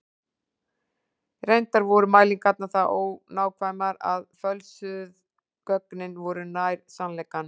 reyndar voru mælingarnar það ónákvæmar að fölsuðu gögnin voru nær sannleikanum